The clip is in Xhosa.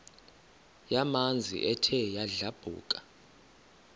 yamanzi ethe yadlabhuka